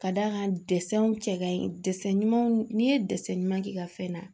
Ka d'a kan dɛsɛnw cɛ kaɲi ɲumanw n'i ye ɲuman k'i ka fɛn na